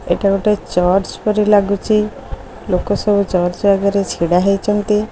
ଏଠାରେ ଚୂର୍ଚ୍ଚ ପରି ଲାଗୁଚି ଲୋକ ସବୁ ଚୂର୍ଚ୍ଚ ଆଗରେ ଛିଡା ହୋଇଛନ୍ତି।